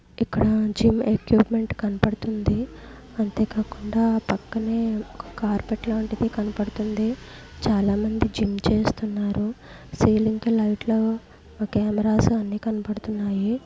ఇక్కడ gym equipment కనబడుతుంది. అంతేకాకుండా పక్కనే ఒక కార్పెట్ లాంటిది కనబడుతుంది. చాలామంది జిమ్ చేస్తున్నారు.సీలింగ్ కి లైట్ లు కెమెరాస్ అన్ని కనపడుతున్నాయి.